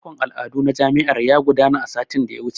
Makon al'adu na jami'ar ya gudana satin da ya wuce.